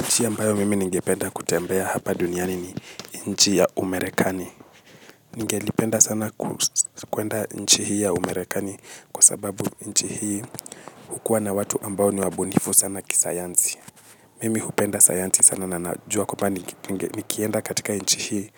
Nchi ambayo mimi ningependa kutembea hapa duniani ni nchi ya umarekani. Ningelipenda sana kuenda nchi hii ya umarekani kwa sababu nchi hii hukuwa na watu ambao ni wabunifu sana kisayansi. Mimi hupenda sayansi sana na najua kubwa nikienda katika nchi hii